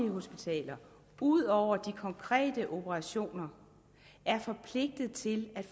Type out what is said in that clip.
hospitaler ud over de konkrete operationer er forpligtede til at